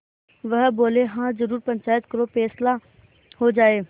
वह बोलेहाँ जरूर पंचायत करो फैसला हो जाय